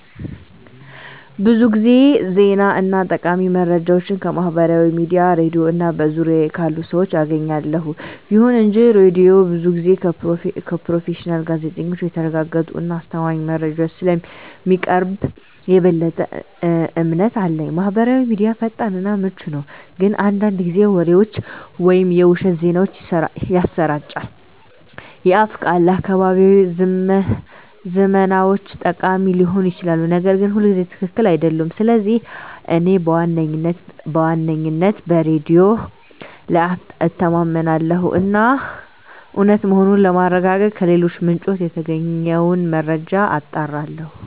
ብዙ ጊዜ ዜና እና ጠቃሚ መረጃዎችን ከማህበራዊ ሚዲያ፣ ሬድዮ እና በዙሪያዬ ካሉ ሰዎች አገኛለሁ። ይሁን እንጂ ሬዲዮው ብዙ ጊዜ ከፕሮፌሽናል ጋዜጠኞች የተረጋገጡ እና አስተማማኝ መረጃዎችን ስለሚያቀርብ የበለጠ እምነት አለኝ። ማህበራዊ ሚዲያ ፈጣን እና ምቹ ነው፣ ግን አንዳንድ ጊዜ ወሬዎችን ወይም የውሸት ዜናዎችን ያሰራጫል። የአፍ ቃል ለአካባቢያዊ ዝመናዎች ጠቃሚ ሊሆን ይችላል, ነገር ግን ሁልጊዜ ትክክል አይደለም. ስለዚህ እኔ በዋነኝነት በሬዲዮ ላይ እተማመናለሁ እና እውነት መሆኑን ለማረጋገጥ ከሌሎች ምንጮች የተገኘውን መረጃ አጣራለሁ።